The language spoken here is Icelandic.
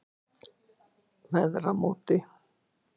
Veðramóti